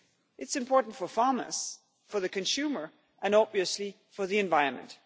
It is important for farmers, for the consumer and obviously for the environment.